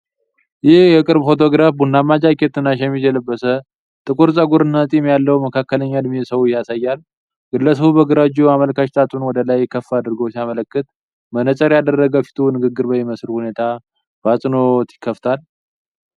ይህ የቅርብ ፎቶግራፍ ቡናማ ጃኬት እና ሸሚዝ የለበሰ፣ ጥቁር ፀጉር እና ጢም ያለው መካከለኛ እድሜ ሰው ያሳያል። ግለሰቡ በግራ እጁ አመልካች ጣቱን ወደ ላይ ከፍ አድርጎ ሲያመለክት፣ መነጽር ያደረገ ፊቱ ንግግር በሚመስል ሁኔታ በአጽንዖት ይከፈታል።